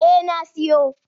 Eh na siyo.